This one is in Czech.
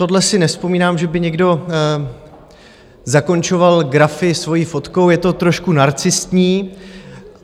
Tohle si nevzpomínám, že by někdo zakončoval grafy svou fotkou, je to trošku narcistní.